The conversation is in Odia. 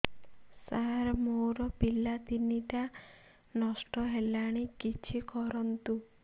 ସାର ମୋର ପିଲା ତିନିଟା ନଷ୍ଟ ହେଲାଣି କିଛି କରନ୍ତୁ